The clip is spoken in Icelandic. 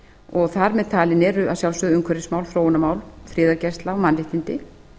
og þar með talin eru að sjálfsögðu umhverfismál þróunarmál friðargæsla og mannréttindi